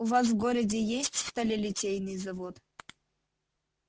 у вас в городе есть сталелитейный завод